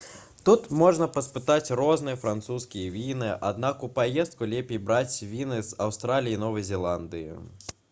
тут можна паспытаць розныя французскія віны аднак у паездку лепей браць віны з аўстраліі і новай зеландыі